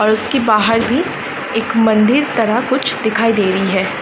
और उसकी बाहर भी एक मंदिर तरह कुछ दिखाई दे री है।